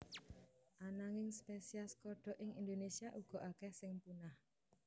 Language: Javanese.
Ananging spesies kodhok ing Indonésia uga akéh sing punah